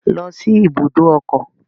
Go to the motor park